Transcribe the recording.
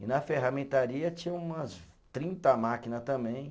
E na ferramentaria tinha umas trinta máquina também.